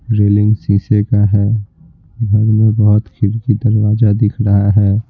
Railing शीशे का है घर में बहुत खिरकी दरवाजा दिख रहा है।